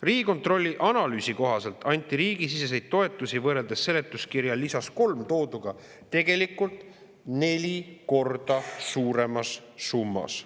Riigikontrolli analüüsi kohaselt anti riigisiseseid toetusi võrreldes seletuskirja lisas nr 3 tooduga tegelikult neli korda suuremas summas.